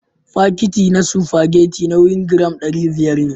Fakitin na spagetti nauyin gram ɗari biyar